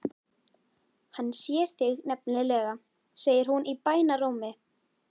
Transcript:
Hann sér þig nefnilega, segir hún í bænarrómi.